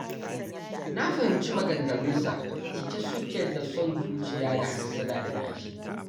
Na fahimci maganganunsa cike suke da son zuciya da hassada da ƙyashi.